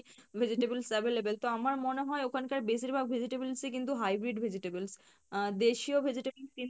vegetables available তো আমার মনে হয় ওখানকার বেশীরভাগ vegetables ই কিন্তু hybrid vegetables আহ দেশীয় vegetable কিন্তু